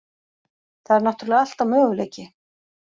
Það er náttúrulega alltaf möguleiki.